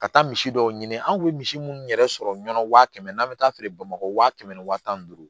Ka taa misi dɔw ɲini an kun bɛ misi munnu yɛrɛ sɔrɔ ɲɔn wa kɛmɛ n'an bɛ taa feere bamakɔ waa kɛmɛ ni waa tan ni duuru